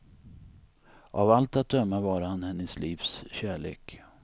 Av allt att döma var han hennes livs kärlek.